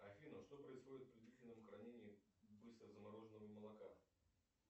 афина что происходит при длительном хранении быстрозамороженного молока